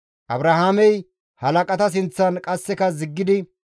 Abrahaamey halaqata sinththan qasseka ziggidi,